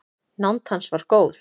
Nánd hans var góð.